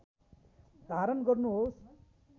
धारण गर्नुहोस्